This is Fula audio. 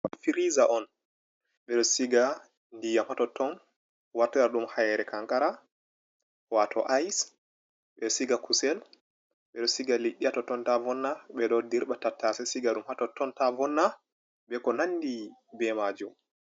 Firiza on ɓeɗo siga ndiyam ha totton warta ɗum haire kankara wato ice, ɓeɗo siga kusel, ɓeɗo siga liɗɗi ta totto vonna, ɓeɗo dirɓa tattase siga ɗum ha totton ta vonna.